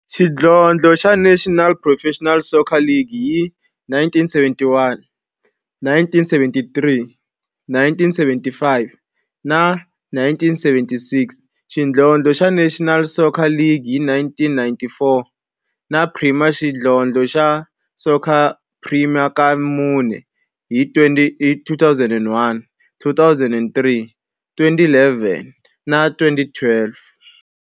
xidlodlo xa National Professional Soccer League hi 1971, 1973, 1975 na 1976, xidlodlo xa National Soccer League hi 1994, na Premier Xidlodlo xa Soccer League ka mune, hi 2001, 2003, 2011 na 2012.